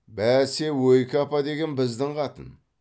бәсе ойке апа деген біздің қатын